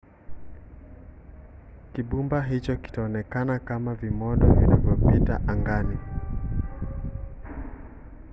kibumba hicho kitaonekana kama vimondo vinavyopita angani